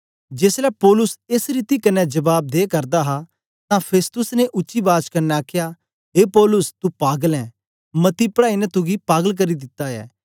जेसलै पौलुस एस रीति कन्ने जबाब दे करदा हा तां फेस्तुस ने उच्ची बाज कन्ने आखया ए पौलुस तू पागल ऐ मती पढ़ाई ने तुगी पागल करी दिता ऐ